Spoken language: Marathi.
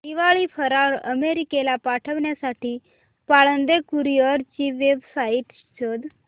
दिवाळी फराळ अमेरिकेला पाठविण्यासाठी पाळंदे कुरिअर ची वेबसाइट शोध